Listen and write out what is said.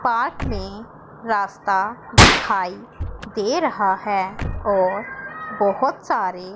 park में रास्ता दिखाई दे रहा है और बहुत सारे--